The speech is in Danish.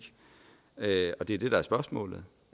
og det er det der er spørgsmålet